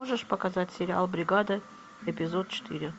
можешь показать сериал бригада эпизод четыре